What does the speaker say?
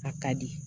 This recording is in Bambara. A ka di